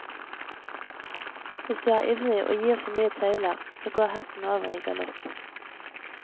Hvis du er ivrig og gir for mye tøyler, så går hesten over i galopp.